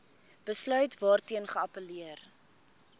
besluit waarteen geappelleer